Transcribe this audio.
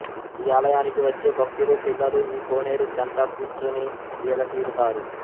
ఈ ఆలయానికి వచ్చే భక్తులు పిల్లలూ ఈ కోనేరు చెంత కూర్చుని సేదతీరుతారు